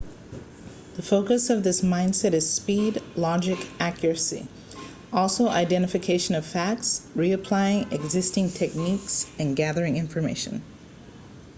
the focus of this mindset is speed logic and accuracy also identification of facts reapplying existing techniques gathering information